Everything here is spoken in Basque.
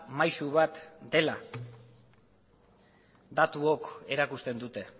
maisu bat dela datuok erakusten dute